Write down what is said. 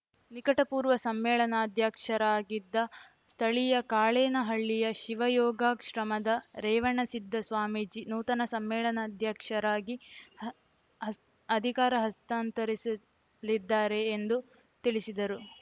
ನಿಕಟಪೂರ್ವ ಸಮ್ಮೇಳನಾಧ್ಯಕ್ಷರಾಗಿದ್ದ ಸ್ಥಳೀಯ ಕಾಳೇನಹಳ್ಳಿಯ ಶಿವಯೋಗಾಶ್ರಮದ ರೇವಣಸಿದ್ದ ಸ್ವಾಮೀಜಿ ನೂತನ ಸಮ್ಮೇಳನಾಧ್ಯಕ್ಷರಾಗಿ ಅಧಿಕಾರ ಹಸ್ತಾಂತರಿಸಲಿದ್ದಾರೆ ಎಂದು ತಿಳಿಸಿದರು